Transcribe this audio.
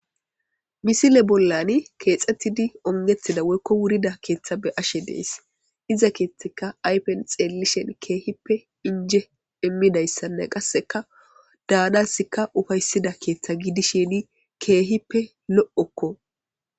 Misile bollani keexxettidi ongettida woykko wurida keeththa be ashe dees iza keeththaka ypen xeellishen keehippe inje immidayssanne qasseka daanasikka ufayssida keeththa gidisheni keehippe lo'okko.